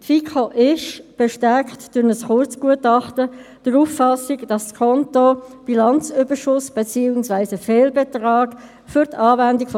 Die FiKo ist sehr froh, dass wir Ihnen heute die Rechnung, oder den Geschäftsbericht, zur Genehmigung vorlegen können.